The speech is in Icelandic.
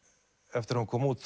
eftir að hún kom út